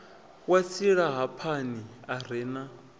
wa silahapani a re na